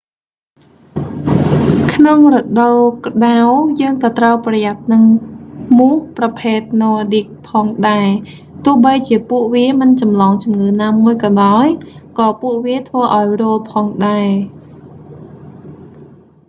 ក្នុងរដូវក្តៅ យើង​ក៏​ត្រូវ​ប្រយ័ត្ន​នឹង​មូសប្រភេទណ័រឌីកnordic ផងដែរ។ ទោះបីជាពួកវាមិនចម្លងជំងឺណាមួយក៏ដោយ ក៏ពួកវា​ធ្វើឱ្យរោលផងដែរ។